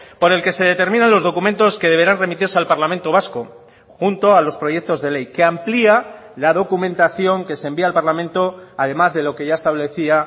por el que se determinan los documentos que deberán remitirse al parlamento vasco junto a los proyectos de ley que amplía la documentación que se envía al parlamento además de lo que ya establecía